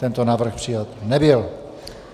Tento návrh přijat nebyl.